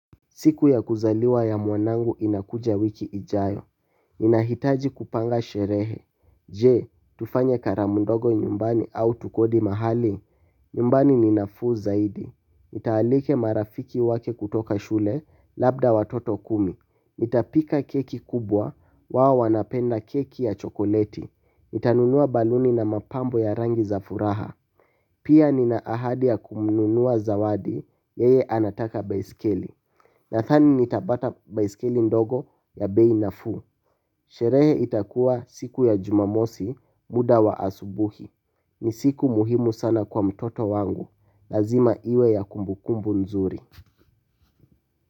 Siku ya kuzaliwa ya mwanangu inakuja wiki ijayo. Ninahitaji kupanga sherehe. Je, tufanye karamu ndogo nyumbani au tukodi mahali. Nyumbani ni nafuu zaidi. Nitaalika marafiki wake kutoka shule, labda watoto kumi nita pika keki kubwa, wao wanapenda keki ya chokoleti. Nitanunua baluni na mapambo ya rangi za furaha. Pia nina ahadi ya kumnunua zawadi, yeye anataka baiskeli. Na dhani nitapata baiskeli ndogo ya bei nafuu. Sherehe itakuwa siku ya jumamosi muda wa asubuhi. Ni siku muhimu sana kwa mtoto wangu. Lazima iwe ya kumbukumbu mzuri.